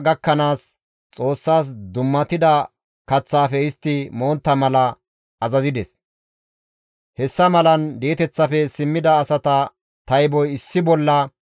Istta maccassatanne attuma oosanchchata tayboy issi bolla 7,337; qasseka mazamure yexxiza maccassatinne attumasati issi bolla 200.